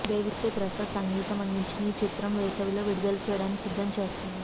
దేవిశ్రీ ప్రసాద్ సంగీతం అందించిన ఈ చిత్రం వేసవిలో విడుదల చెయ్యడానికి సిద్దం చేస్తున్నారు